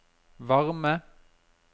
varme